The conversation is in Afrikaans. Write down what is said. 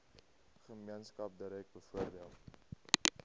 gemeenskap direk bevoordeel